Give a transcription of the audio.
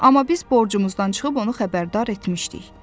Amma biz borcumuzdan çıxıb onu xəbərdar etmişdik.